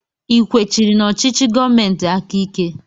I kwechiri n'ọchịchị gọọmentị aka ike?